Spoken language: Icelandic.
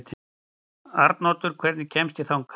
Arnoddur, hvernig kemst ég þangað?